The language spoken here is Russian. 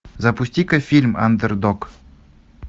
запусти ка фильм андердог